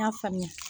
N y'a faamuya